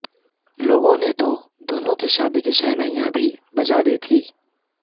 लोगों ने तो दोनों की शादी की शहनाइयां भी बजा दी थीं